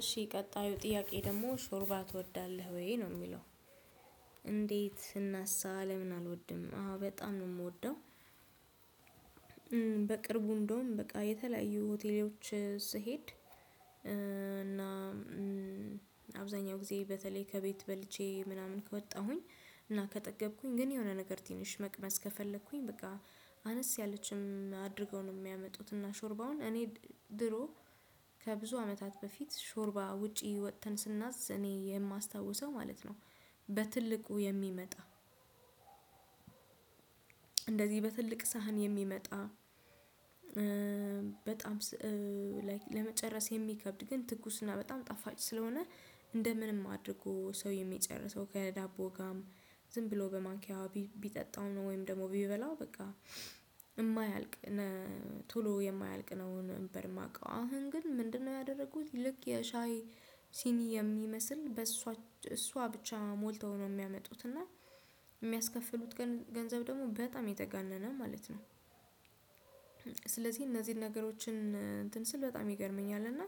እሺ ቀጣዩ ጥያቄ ደግሞ ሾርባ ትወዳለህ ወይ ነው የሚለው? እንዴት ስናሳ ለምን አልወድም አዎ በጣም ነው የምወደው። በቅርቡ እንደውም በቃ የተለያዩ ሆቴሎች ስሄድ። እና አብዛኛው ጊዜ በተለይ ከቤት በልቼ ምናምን ከወጣሁኝ እና ከጠገብኩኝ ግን የሆነ ነገር ትንሽ መቅመስ ከፈለኩኝ በቃ አነስ ያለችም አድርገው ነው የሚያመጡት እና ሾርባውን እኔ ድሮ ከብዙ አመታት በፊት ሾርባ ውጪ ወጥተን ስናዝ እኔ የማስታውሰው ማለት ነው። በትልቁ የሚመጣ እንደዚህ በትልቅ ሳህን የሚመጣ በጣም ለመጨረስ የሚከብድ ግን ትኩስ እና በጣም ጣፋጭ ስለሆነ። እንደ ምንም አድርጎ ሰው የሚጨርሰው ከዳቦ ጋርም ዝም ብሎ በማንኪያው ቢጠጣው ነው ወይም ደግሞ ቢበላው በቃ እማያልቅ ቶሎ የማያልቅ ነው። ነበር የማውቀው አሁን ግን ምንድነው ያደረኩት ልክ የሻይ ሲኒ የሚመስል በእሷ እሷ ብቻ ሞልተው ነው የሚያመጡት እና የሚያስከፍሉት ገንዘብ ደግሞ በጣም የተጋነነ ማለት ነው። ስለዚህ እነዚህን ነገሮችን እንትን ስል በጣም ይገርመኛል። እና